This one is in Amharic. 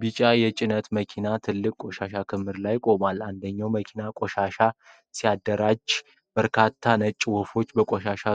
ቢጫ የጭነት መኪናዎች ትልቅ የቆሻሻ ክምር ላይ ቆመዋል። አንደኛው መኪና ቆሻሻ ሲያደራጅ፣ በርካታ ነጭ ወፎች በቆሻሻው